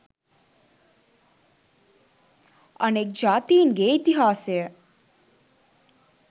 අනෙක් ජාතීන්ගේ ඉතිහාසය